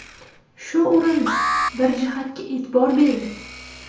Shu o‘rinda bir jihatga e’tibor bering.